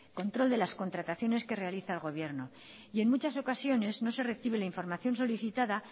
control de las contrataciones que realiza el gobierno en muchas ocasiones no se recibe la información solicitada